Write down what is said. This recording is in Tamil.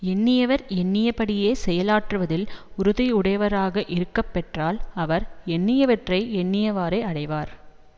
எண்ணியவர் எண்ணியபடியே செயல் ஆற்றுவதில் உறுதியுடையவராக இருக்கப்பெற்றால் அவர் எண்ணியவற்றை எண்ணியவாறே அடைவார்